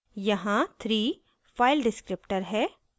यहाँ 3 file descriptor है